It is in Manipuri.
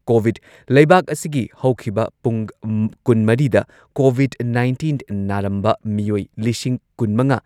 ꯀꯣꯚꯤꯗ ꯂꯩꯕꯥꯛ ꯑꯁꯤꯒꯤ ꯍꯧꯈꯤꯕ ꯄꯨꯡ ꯀꯨꯟꯃꯔꯤꯗ ꯀꯣꯚꯤꯗ ꯅꯥꯏꯟꯇꯤꯟ ꯅꯥꯔꯝꯕ ꯃꯤꯑꯣꯏ ꯂꯤꯁꯤꯡ ꯀꯨꯟꯃꯉꯥ